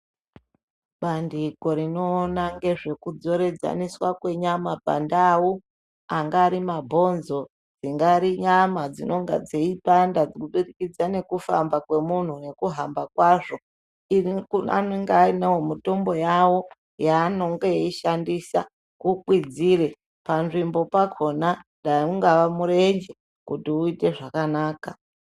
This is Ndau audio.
Bandiko rinoona ngezvekudzoresaniswa kwenyama pandau, angari mabhonzo, dzingari nyama dzingadai dzeipanda kubudikidza ngekufamba kwemunhu nekuhamba kwazvo, anenge ainewo mutombo yawo aanomboishandisa kukwidzire panzvimbo pakona, dai ungaa murenje uite zvakanaka.